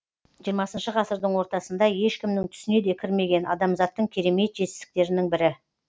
жиырмасыншы ғасырдың ортасында ешкімнің түсіне де кірмеген адамзаттың керемет жетістіктерінің бірі